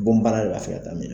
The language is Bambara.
Bɔn bana lafiyata min